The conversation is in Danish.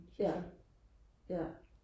ja ja